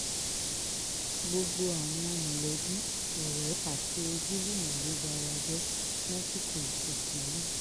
gbogbo àwọn mọ̀lẹ́bí ọ̀rẹ́ àti ojúlùmọ̀ ló bara jẹ́ lásìkò ìsìnkú náà